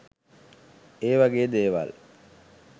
ඒ වගේ දේවල්